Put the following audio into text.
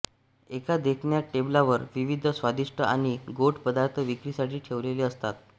एका देखण्या टेबलावर विविध स्वादिष्ट आणि गोड पदार्थ विक्रीसाठी ठेवलेले असतात